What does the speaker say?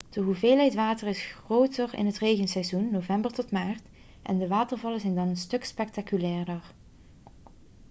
de hoeveelheid water is groter in het regenseizoen november tot maart en de watervallen zijn dan een stuk spectaculairder